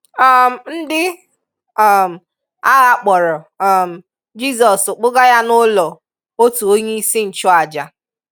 um Ndị um agha kpọọrọ um Jizọs kpụga Ya n'ụlọ otu onye isi nchụàjà.